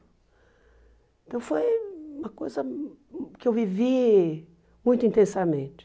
Então foi uma coisa que eu vivi muito intensamente.